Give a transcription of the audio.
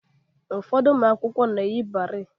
Ụfọdụ ụmụ akwụkwọ na-eyi barei